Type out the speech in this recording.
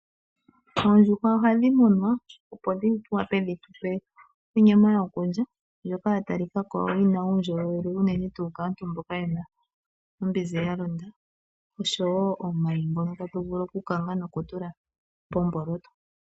Oondjuhwa ohadhi munwa, opo di wape dhitupe onyama ndjoka ya talikako yina uundjolowele unene tuu kaantu mboka yena ombizi yalonda oshowo omayi ngono tatu vulu okukanga nokutula pomboloto.